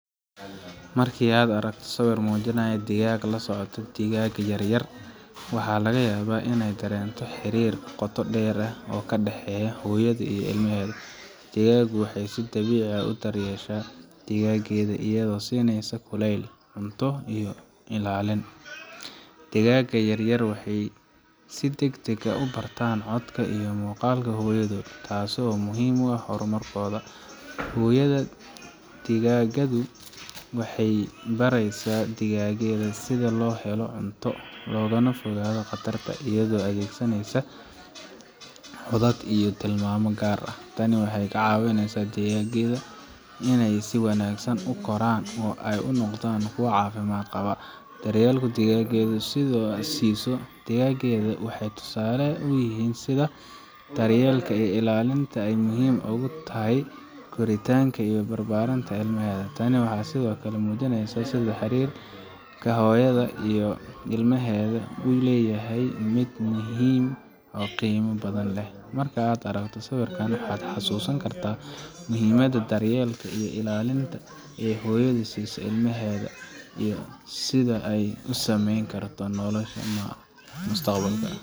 Marka aad aragto sawir muujinaya digaagad la socota digaag yar yar, waxaa laga yaabaa inaay dareento xiriirka qoto dheer ee ka dhexeeya hooyada iyo ilmaheeda. Digaagaddu waxay si dabiici ah u daryeeshaa digaaggeeda, iyadoo siinaysa kulayl, cunto, iyo ilaalin Digaag yar yar waxay si degdeg ah u bartaan codka iyo muuqaalka hooyadood, taasoo muhiim u ah horumarkooda. Hooyada digaagaddu waxay baraysaa digaaggeeda sida loo helo cunto, loogana fogaado khataraha, iyadoo adeegsanaysa codad iyo tilmaamo gaar ah. Tani waxay ka caawisaa digaaggeeda inay si wanaagsan u koraan oo ay u noqdaan kuwo caafimaad qaba. Daryeelka digaagaddu siiso digaaggeeda wuxuu tusaale u yahay sida daryeelka iyo ilaalinta ay muhiim ugu yihiin koritaanka iyo barbaarinta ilmaheda. Tani waxay sidoo kale muujinaysaa sida xiriirka hooyada iyo ilmaheeda uu u yahay mid muhiim ah oo qiimo badan leh. Marka aad aragto sawirkan, waxaad xasuusan kartaa muhiimadda daryeelka iyo ilaalinta ee hooyada siiso ilmaheeda, iyo sida ay u saameyn karto noloshooda mustaqbalka